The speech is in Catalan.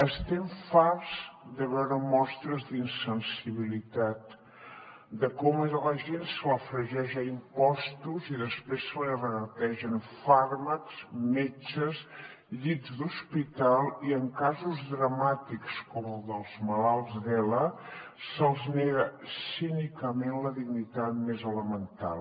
estem farts de veure mostres d’insensibilitat de com a la gent se la fregeix a impostos i després se li regategen fàrmacs metges llits d’hospital i en casos dramàtics com els dels malalts d’ela se’ls nega cínicament la dignitat més elemental